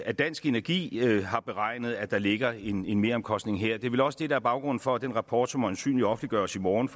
at dansk energi har beregnet at der ligger en meromkostning her det er vel også det der er baggrunden for at den rapport som øjensynlig offentliggøres i morgen